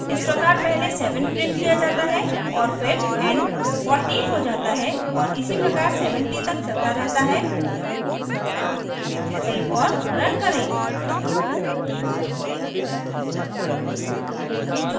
इस प्रकार पहले 7 printed किया जाता है और फिर n 14 हो जाता है और इसी प्रकार 70 तक चलता रहता है सेव और रन करें